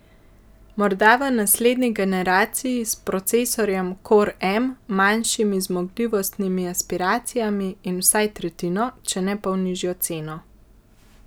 Morda v naslednji generaciji s procesorjem core m, manjšimi zmogljivostnimi aspiracijami in vsaj tretjino, če ne pol nižjo ceno?